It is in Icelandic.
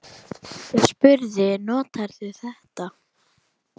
Ég spurði: Notar þú þetta?